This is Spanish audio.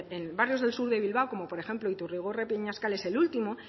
en los barrios sur de bilbao como por ejemplo iturrigorri peñascal es el último